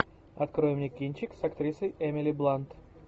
открой мне кинчик с актрисой эмили блант